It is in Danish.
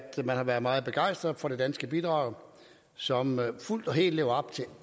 man har været meget begejstret for det danske bidrag som fuldt og helt lever op til